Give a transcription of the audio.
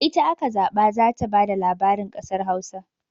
Ita aka zaɓa za ta ba da labarin kasar Hausa.